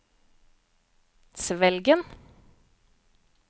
Svelgen